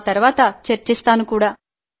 ఆ తరువాత చర్చిస్తాను కూడా